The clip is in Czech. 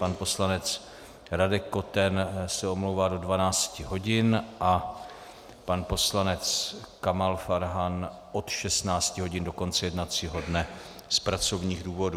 Pan poslanec Radek Koten se omlouvá do 12 hodin a pan poslanec Kamal Farhan od 16 hodin do konce jednacího dne z pracovních důvodů.